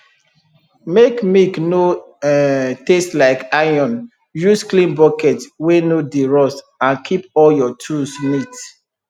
make milk no um taste like iron use clean bucket wey no dey rust and keep all your tools neat